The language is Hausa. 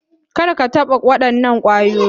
Kar ka taɓa waɗannan kwayoyi.